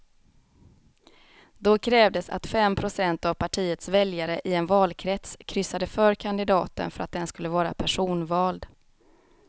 Då krävdes att fem procent av partiets väljare i en valkrets kryssade för kandidaten för att den skulle vara personvald.